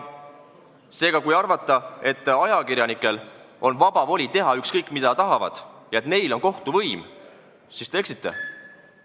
Seega, kui arvate, et ajakirjanikel on vaba voli teha kõike, mida nad tahavad, ja et neil on kohtu võim, siis te eksite.